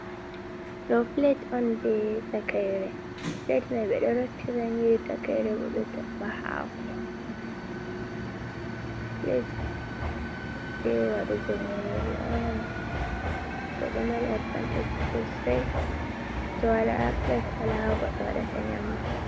Do plet on je takaire plet mai bedo rottira nyiri takaire bo ɓe toɓɓa hako, plet je wadugo nyiri on bo ɗo mari advantage sosai to wala plet wala ha goɗɗo waɗata nyamdu.